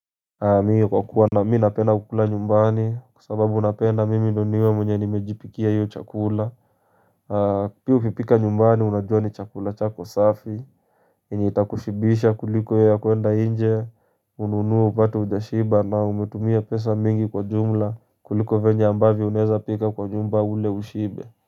Mi kwa kuwa na mi napenda kukula nyumbani kwa sababu napenda mimi ndio niwe mwenye nimejipikia hio chakula Pia kupika nyumbani unajua ni chakula chako safi enye itakushibisha kuliko ya kuenda nje ununue upate ujashiba na umetumia pesa mingi kwa jumla kuliko venye ambavi unaeza pika kwa nyumba ule ushibe.